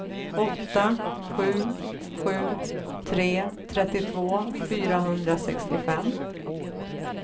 åtta sju sju tre trettiotvå fyrahundrasextiofem